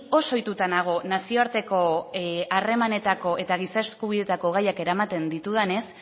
oso ohituta nago nazioarteko harremanetako eta giza eskubideetako gaiak eramaten ditudanez